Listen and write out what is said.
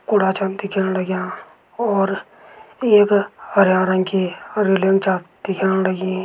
कूड़ा छन दिखेण लग्यां और एक हरयां रंग की अ रैलिंग छा दिखेण लगीं।